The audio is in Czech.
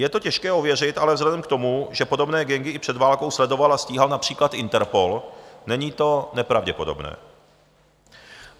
Je to těžké ověřit, ale vzhledem k tomu, že podobné gangy i před válkou sledoval a stíhal například Interpol, není to nepravděpodobné.